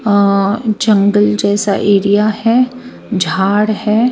और जंगल जैसा एरिया है झाड़ है.